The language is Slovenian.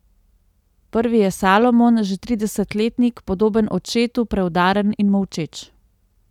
Prvi je Salomon, že tridesetletnik, podoben očetu, preudaren in molčeč.